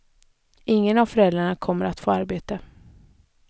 Ingen av föräldrarna kommer att få arbete.